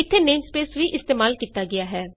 ਇਥੇ ਨੇਮਸਪੇਸ ਵੀ ਇਸਤੇਮਾਲ ਕੀਤਾ ਗਿਆ ਹੈ